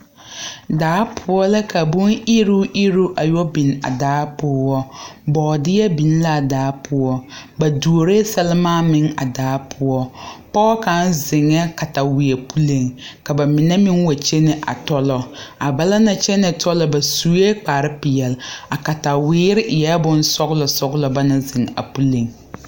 Daapoɔ la ka bon iruuŋ iruuŋ a yɔ biŋ a daa poɔ boodeɛ biŋ la a daa poɔ ba doree sɛremaa meŋ a daa poɔ pɔge kaŋ zeŋa katawiɛ puli ka ba mine meŋ wa kyɛne a tɔlɔ a ba na naŋ kyɛne tɔlɔ ba suɛ kparre peɛle a katawiee eɛ bon sɔglo sɔglo ba naŋ zeŋ a puli .